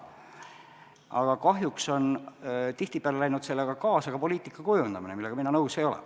Aga kahjuks on tihtipeale läinud sellega kaasa ka poliitika kujundamine, millega mina nõus ei ole.